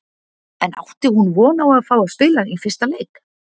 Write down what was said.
En átti hún von á að fá að spila í fyrsta leik?